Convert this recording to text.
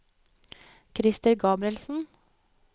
Christer Gabrielsen